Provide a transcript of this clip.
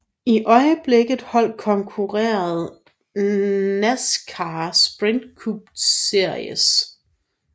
I øjeblikket holdet konkurrerede i NASCAR Sprint Cup Series